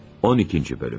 12-ci Bölüm.